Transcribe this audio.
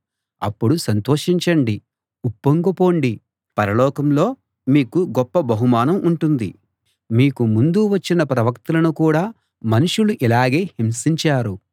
అప్పుడు సంతోషించండి ఉప్పొంగిపొండి పరలోకంలో మీకు గొప్ప బహుమానం ఉంటుంది మీకు ముందు వచ్చిన ప్రవక్తలను కూడా మనుషులు ఇలాగే హింసించారు